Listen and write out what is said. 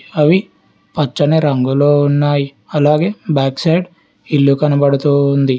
అవి పచ్చని రంగులో ఉన్నాయి అలాగే బ్యాక్ సైడ్ ఇల్లు కనబడుతూ ఉంది.